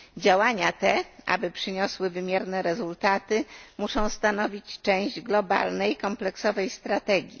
Działania te, aby przyniosły wymierne rezultaty, muszą stanowić część globalnej kompleksowej strategii.